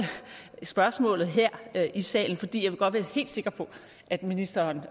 spørgsmålet her i salen fordi jeg godt vil være helt sikker på at ministeren